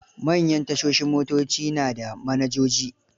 Manyan tashoshin motoci na da manajoji.